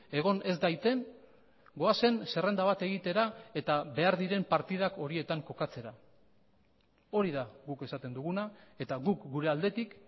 egon ez daiten goazen zerrenda bat egitera eta behar diren partidak horietan kokatzera hori da guk esaten duguna eta guk gure aldetik